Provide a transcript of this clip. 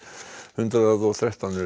hundrað og